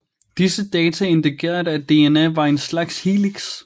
Disse data indikerede at dna var en slags helix